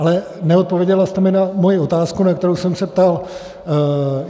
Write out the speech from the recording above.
Ale neodpověděla jste mi na moji otázku, na kterou jsem se ptal.